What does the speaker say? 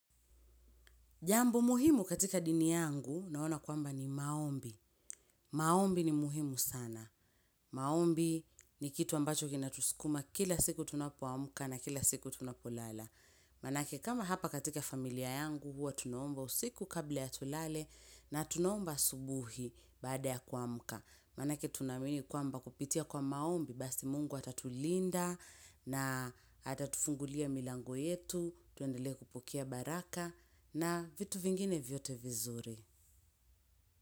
Jambo muhimu katika dini yangu, naona kwamba ni maombi. Maombi ni muhimu sana. Maombi ni kitu ambacho kina tusukuma kila siku tunapo amka na kila siku tunapo lala. Manake kama hapa katika familia yangu, huwa tunaomba usiku kabla ya tulale na tunaomba asubuhi baada ya kuamka. Manake tunaamini kwamba kupitia kwa maombi, basi mungu atatulinda na atatufungulia milango yetu, tuendelee kupokea baraka na vitu vingine vyote vizuri.